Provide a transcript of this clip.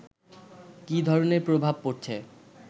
কি ধরনের প্রভাব পড়ছে